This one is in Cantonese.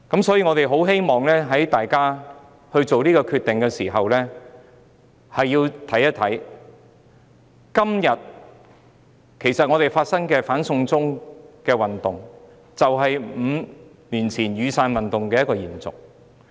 所以，希望議員在作出這個決定的時候，能看一看今天發生的"反送中"運動，這正是5年前雨傘運動的延續。